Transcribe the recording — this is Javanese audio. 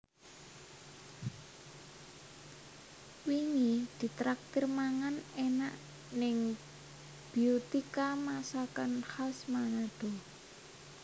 Wingi ditraktir mangan enak ning Beautika Masakan Khas Manado